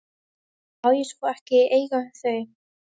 Má ég svo ekki eiga þau?